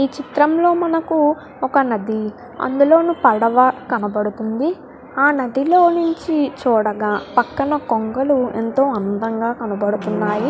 ఈ చిత్రం లో మనకు ఒక నది అందులోను పడవ కనపడుతుంది ఆ నదిలోనుంచి చూడగ పక్కన కొంగలు ఎంతో అందంగా కనబడుతున్నాయి.